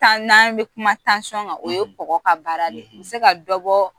n'an be kuma kan, o ye kɔgɔ ka baara de ye u bi se ka dɔ bɔɔ